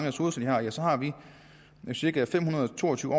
ressourcer så har vi cirka fem hundrede og to og tyve